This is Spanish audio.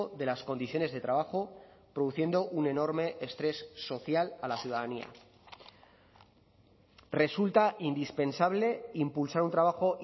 de las condiciones de trabajo produciendo un enorme estrés social a la ciudadanía resulta indispensable impulsar un trabajo